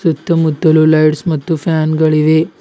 ಸುತ್ತ ಮುತ್ತಲೂ ಲೈಟ್ಸ್ ಮತ್ತು ಫ್ಯಾನ್ ಗಳಿವೆ.